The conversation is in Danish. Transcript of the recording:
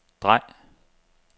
drej